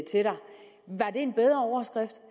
en bedre overskrift